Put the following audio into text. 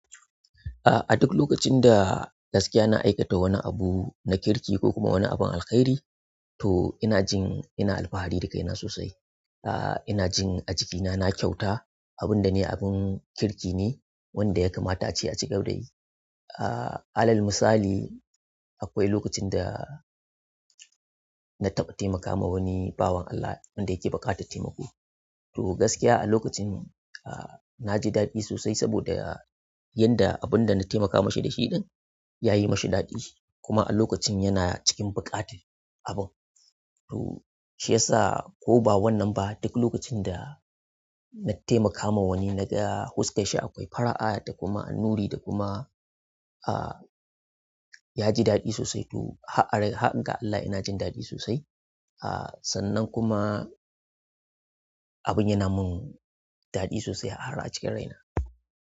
A duk lokacin da gaskiya na aikata wani abu na kirki ko kuma wani abin alkhairi to ina jin ina alfahari da kaina sosai. A'a ina jin a jikina na kyauta abun da nayi abun kirki ne wanda ya kamata ace a cigaba da yi. Ah alal misali akwai lokacin da na taɓa taimaka ma wani bawan Allah wanda yake buƙatar taimako to gaskiya a lokacin a'a naji daɗi sosai saboda yanda abunda na taimaka mashi da shi dan yayi mashi daɗi kuma a lokacin yana cikin buƙatar abun. To shi yasa ko ba wannan ba duk lokacin da na taimaka ma wani naga huska shi akwai fara'a da kuma nuri da kuma a'a yaji daɗi sosai to hag ga Allah ina jin daɗi sosai. A'a sannan kuma abun yana mun daɗi sosai har a cikin raina.